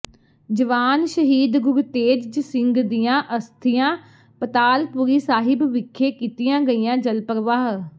ਜਵਾਨ ਸ਼ਹੀਦ ਗੁਰਤੇਜ ਸਿੰਘ ਦੀਆਂ ਅਸਥੀਆਂ ਪਤਾਲਪੁਰੀ ਸਾਹਿਬ ਵਿਖੇ ਕੀਤੀਆਂ ਗਈਆਂ ਜਲਪ੍ਰਵਾਹ